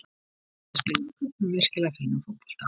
Íslenska liðið spilaði á köflum virkilega fínan fótbolta.